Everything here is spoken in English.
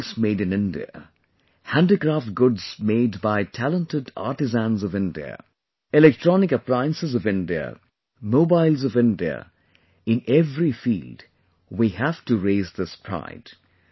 Textiles made in India, handicraft goods made by talented artisans of India, electronic appliances of India, mobiles of India, in every field we have to raise this pride